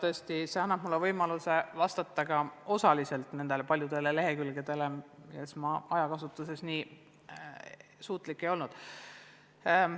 Ja tõesti, see annab mulle võimaluse käsitleda osaliselt ka neid paljusid lehekülgi, mida ma enne ei jõudnud.